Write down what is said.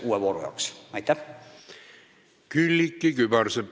Külliki Kübarsepp, palun!